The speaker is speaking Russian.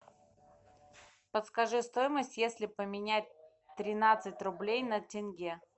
подскажи стоимость если поменять тринадцать рублей на тенге